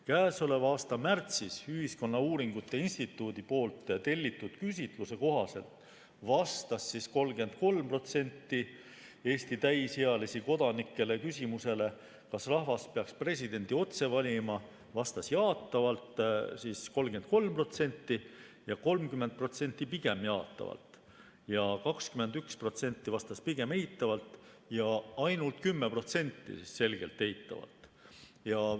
Käesoleva aasta märtsis Ühiskonnauuringute Instituudi tellitud küsitluses vastas 33% Eesti täisealisi kodanikke küsimusele, kas rahvas peaks presidenti otse valima, jaatavalt ja 30% pigem jaatavalt, 21% vastas pigem eitavalt ja ainult 10% selgelt eitavalt.